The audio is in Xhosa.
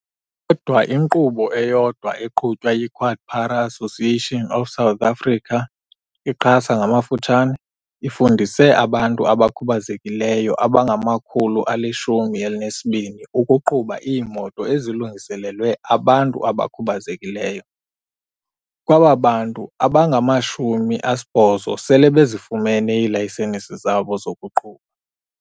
Kodwa inkqubo eyodwa eqhutywa yi-QuadPara Association of South Africa, i-QASA, ifundise abantu abakhubazekileyo abangama-120 ukuqhuba iimoto ezilungiselelwe abantu abakhubazekileyo, kwaba bantu abangama-80 sele bezifumene iilayisenisi zabo zokuqhuba.